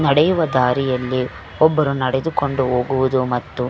ನಡೆಯುವ ದಾರಿಯಲ್ಲಿ ಒಬ್ಬರು ನಡೆದುಕೊಂಡು ಹೋಗುವುದು ಮತ್ತು --